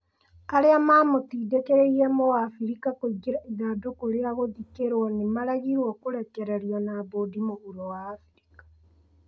Arĩa mamũtindĩkĩrĩirĩe mũabirika kũingĩra ithandũkũrĩa gũthĩkĩrwo nĩ maregirwo kũrekererio na mbũndi mũhuro wa Abirika.